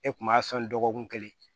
E kun b'a sɔn dɔgɔkun kelen